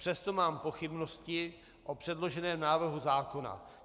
Přesto mám pochybnosti o předloženém návrhu zákona.